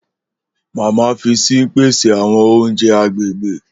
Mama fi pese àwọn ounjẹ agbegbe